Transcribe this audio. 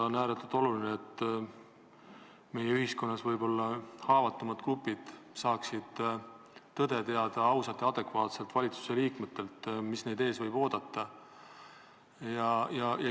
On ääretult oluline, et ühiskonnas võib-olla haavatavamad grupid saaksid valitsusliikmetelt teada tõde, saaksid ausalt ja adekvaatselt teada, mis neid ees võib oodata.